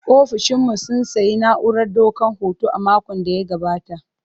Ofishin mu sun sayi na'urar daukar hoto a makon da ya gabata.